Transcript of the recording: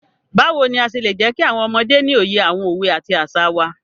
Báwo ni a ṣe lè jẹkí àwọn ọmọdé ní òye àwọn òwe àti àṣà wá?